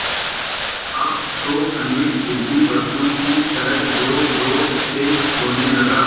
अब तो अनिल ज़िद्दी बच्चों की तरह ज़ोरज़ोर से रोने लगा